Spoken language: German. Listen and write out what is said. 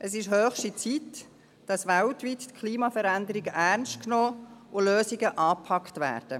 Es ist höchste Zeit, dass die Klimaveränderung weltweit ernst genommen wird und Lösungen angepackt werden.